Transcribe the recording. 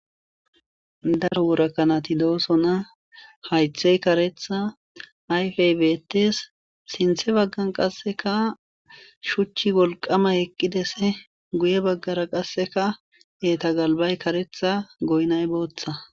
Daro worakanati dooso na haythey karetha ayfey bettes sinthe baggan qasseka shuchchi wolqama eqqides guye baggara qasseka eta galbay karetha goynay booththa